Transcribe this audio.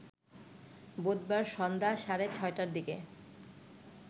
বুধবার সন্ধ্যা সাড়ে ৬টার দিকে